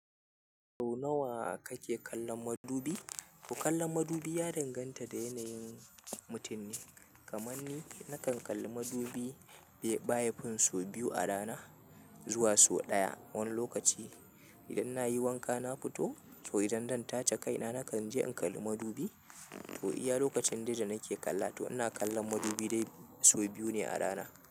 Sau nawa kake kallon madubi? To kallon madubi ya danganta da yanayin mutum ne. Kamanni nakan kalli madubi baya fin so biyu a rana zuwa so ɗaya wani lokaci. Idan nayi wanka na fito to idan zan tace kaina nakan je in kalli madubi. To iya lokacin dai da nake kalla to ina kallon madubi dai so biyu ne a rana.